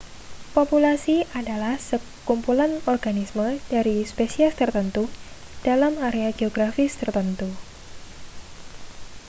populasi adalah kumpulan organisme dari spesies tertentu dalam area geografis tertentu